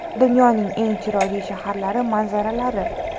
Dunyoning eng chiroyli shaharlari manzaralari.